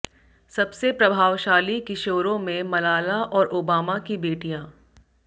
सबसे प्रभावशाली किशोरों में मलाला और ओबामा की बेटियां